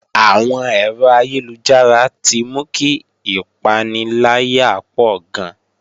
Àwọn ẹ̀rọ ayélujára ti mú kí ìpaniláyà pọ̀ gan